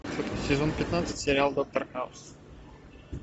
сезон пятнадцать сериал доктор хаус